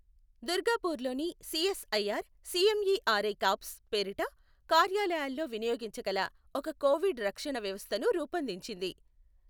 దుర్గాపూర్లోని CSIR CMERI COPS పేరిట కార్యాలయాల్లో వినియోగించగల ఒక కోవిడ్ రక్షణ వ్యవస్థ ను రూపొందించింది.